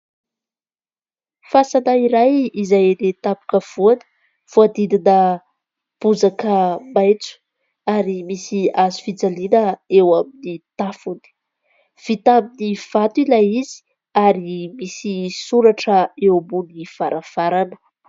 Fasana iray izay eny tampona avoana voadidina bozaka maitso ary misy hazofijaliana eo amin'ny tafony. Vita aminy vato ilay izy ary misy soratra eo ambonin'ny varavarana.